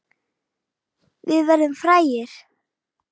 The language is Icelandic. Við verðum frægir.